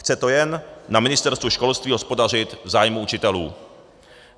Chce to jen na Ministerstvu školství hospodařit v zájmu učitelům.